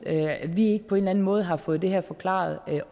at vi ikke på en eller anden måde har fået det her forklaret